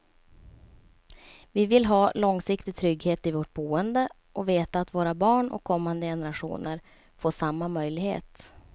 Vi vill ha långsiktig trygghet i vårt boende och veta att våra barn och kommande generationer får samma möjlighet.